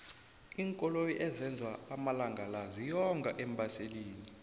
iinkoloyi ezenzwa amalangala ziyonga eembaselini